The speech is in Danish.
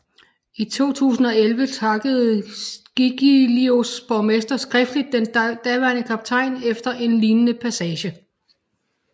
I 2011 takkede Giglios borgmester skriftlig den daværende kaptajn efter en lignende passage